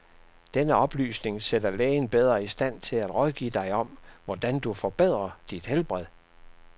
Denne oplysning sætter lægen bedre i stand til at rådgive dig om, hvordan du forbedrer dit helbred.